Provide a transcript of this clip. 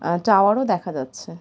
আর একটা দেখা যাচ্ছে।